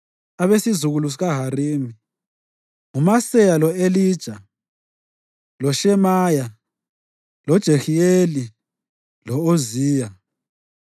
Abesizukulwane sikaHarimi: nguMaseya, lo-Elija, loShemaya, loJehiyeli lo-Uziya.